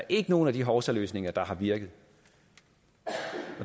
ikke nogen af de hovsaløsninger der har virket